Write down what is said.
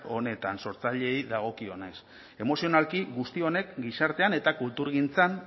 honetan sortzaileei dagokienez emozionalki guzti honek gizartean eta kulturgintzan